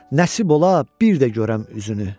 Nəsib ola bir də görəm üzünü.